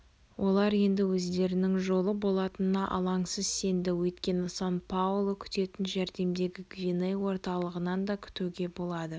олар енді өздерінің жолы болатынына алаңсыз сенді өйткені сан паоло күтетін жәрдемді гвиней орталығынан да күтуге болады